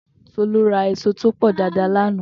Tolú ra èso tó pọ̀ daadaa lánàá.